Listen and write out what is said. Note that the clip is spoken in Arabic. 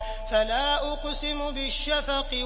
فَلَا أُقْسِمُ بِالشَّفَقِ